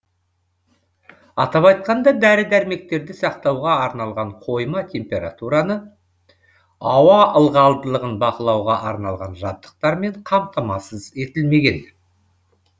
атап айтқанда дәрі дәрмектерді сақтауға арналған қойма температураны ауа ылғалдылығын бақылауға арналған жабдықтармен қамтамасыз етілмеген